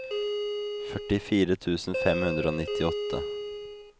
førtifire tusen fem hundre og nittiåtte